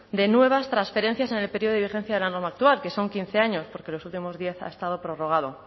de nuevas transferencias en el periodo de vigencia de la norma actual que son quince años porque en los últimos diez ha estado prorrogado